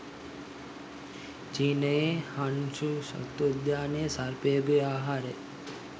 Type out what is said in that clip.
චීනයේ Hangzhou සත්වෝද්‍යානයේ සර්පයකුගේ ආහාරය